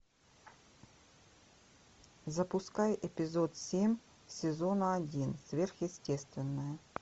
запускай эпизод семь сезона один сверхъестественное